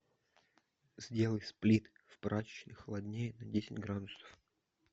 сделай сплит в прачечной холоднее на десять градусов